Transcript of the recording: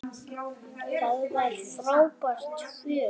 Það var frábært fjör.